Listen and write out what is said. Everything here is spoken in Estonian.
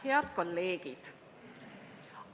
Head kolleegid!